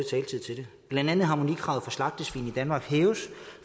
blandt andet harmonikravet for slagtesvin i danmark hæves